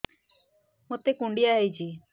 ମୋତେ କୁଣ୍ଡିଆ ହେଇଚି